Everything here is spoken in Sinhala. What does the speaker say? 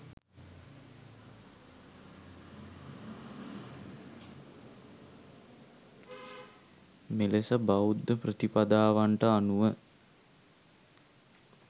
මෙලෙස බෞද්ධ ප්‍රතිපදාවන්ට අනුව